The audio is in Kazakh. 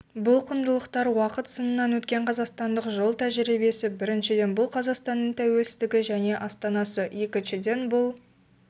бұл құндылықтар уақыт сынынан өткен қазақстандық жол тәжірибесі біріншіден бұл қазақстанның тәуелсіздігі және астанасы екіншіден бұл